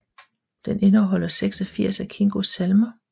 Den indeholder 86 af Kingos salmer